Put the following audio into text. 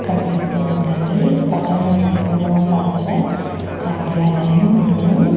కన్పిస్తూ ఉందండి పట్టణ జీవనోపాదుల కార్యాలయం అని--